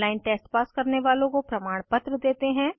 online test pass करने वालों को प्रमाणपत्र देते हैं